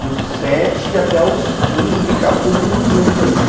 Dos sete até os quinze brincava todo mundo junto ali, né?